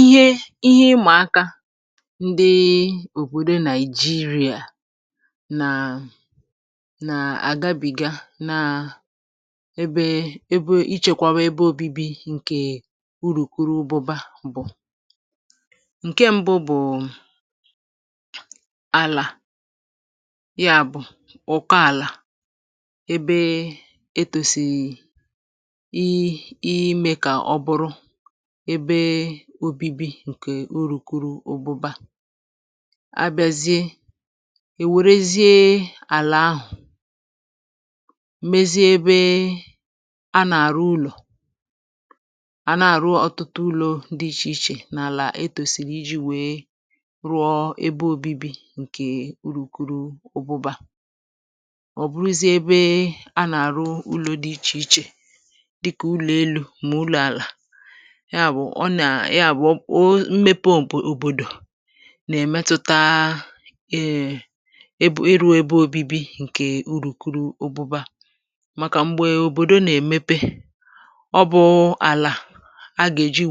ihe ịmà akā ndị òbòdo NaỊ̀jịrị̀à nà àgabị̀ga nà ebe ebe ị chẹkwawa ẹbẹ obibi, ǹkè urùkurubụba bụ̀. ǹkẹ mbụ bụ̀ àlà. yà bụ̀ ụ̀kọ àlà, ebe e kwèsì ịmẹ kà ọ bụrụ, ebe obibi ǹkè urùkurubụba. abazie, ẹ̀ wẹ̀rẹzie àlà ahụ̀, mezie ebe a nà àrụ ụlọ̀. a nà àrụ ọtụtụ ụlọ̄ dị ichè ichè n’àlà ebe e kwèsìrì ijī wẹ rụọ ẹbẹ obibi, ǹkè urùkurubụba, ọ̀ buruzie ebe a nà àrụ ụlọ̄ dị ichè ichè, dịkà ụlọ̀ elū, mà ụlọ̄ àlà. yà bụ̀ ọ nà, yà bụ̀ ọ mmepe òbòdò nà è mẹtụta ẹ̀, ebe ịrụ̄ ebe obibi ǹkè urùkurubụba, màkà m̀gbè òbòdo nà èmepe, ọ bụ̄ àlà a gà èji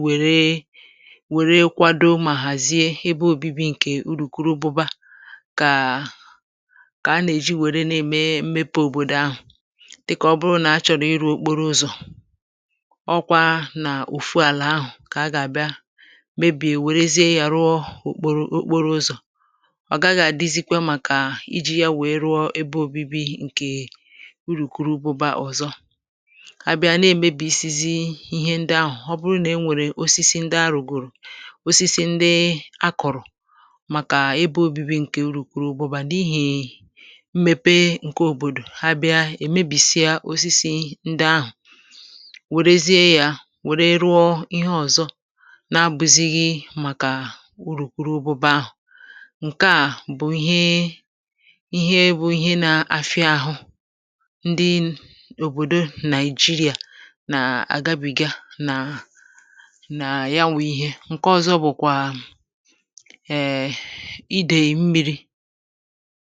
wẹ̀rẹ kwado mà hàzie ebe obībi ǹkẹ̀ urùkurubụba, kà kà a nà èji wẹrẹ nà èmepe òbòdò ahụ̀, dịkà ọ bụrụ na achọ̀rọ̀ ịrụ̄ okporo ụzọ̀. ọkwā nà òfu àlà ahụ̀ kà a gà bịa, maybe è wèrezie yā rụọ okporo, okporo ụzọ̀. ọ̀ gaghị àdizikwe màkà ijī ya wèe rụọ ebe òbibi ǹkè urùkurubụba ọ̀zọ. abịa, à nà èmebìsizi ịhẹ ndị ahụ̀, ọ bụ nà e nwèrè osisi ndị a rùgòrò, osisi ndị a kọ̀rọ̀, màkà ebe obībi ǹke urùkurubụba, n’ihì mmepe ǹkeòbòdò. ha bịa, è mebìsịa osisi ndị ahụ̀, wèrezie ya wère rụọ ịhẹ ọ̀zọ na abụ̄zịghị màkà urùkurubụba. ǹkẹ à bụ̀ ihe, ihe bụ̄ ihe na afịa àhụ, ndị òbòdo NaỊ̀jịrị̀à nà àgabị̀ga nà nà yaw ụ ịhẹ. ǹkẹ ọzọ bụ̀kwà, ẹ̀ẹ̀ ẹ̀, idè mmirī.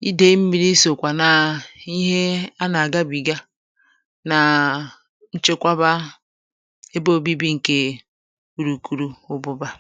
idè mmirī sòkwà nà ihe a nà àgabị̀ga nà nchekwaba ebe obibi ǹkè urùkurubụba.